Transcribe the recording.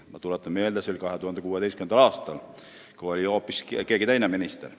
Ma tuletan meelde, et see oli 2016. aastal, kui ametis oli hoopis teine minister.